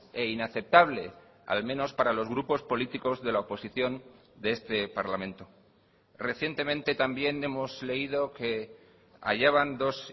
e inaceptable al menos para los grupos políticos de la oposición de este parlamento recientemente también hemos leído que hallaban dos